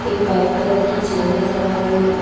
एक white colour की chair नजर आ रही है।